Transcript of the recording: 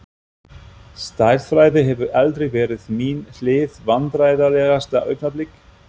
stærðfræði hefur aldrei verið mín hlið Vandræðalegasta augnablik?